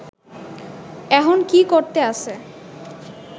এহন কি করতে আছে